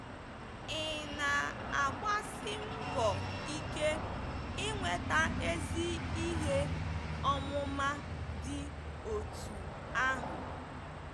Ị̀ na-agbasi mbọ ike inweta ezi ihe ọmụma dị otú ahụ?